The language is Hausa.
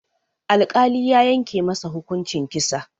Alkali ya yanke masa hukuncin kisa.